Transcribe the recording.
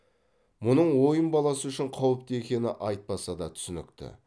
мұның ойын баласы үшін қауіпті екені айтпаса да түсінікті